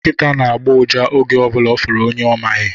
Nkita na-agbọ ụja oge ọbụla ọ fụrụ onye ọ maghị